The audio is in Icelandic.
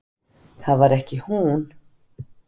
Það var ekki hún.